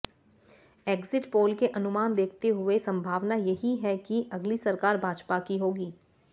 exit poll के अनुमान देखते हुए संभावना यही है कि अगली सरकार भाजपा की होगी